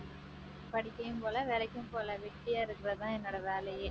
படிக்கவும் போகல வேலைக்கும் போகல வெட்டியா இருக்கிறதுதான் என்னோட வேலையே.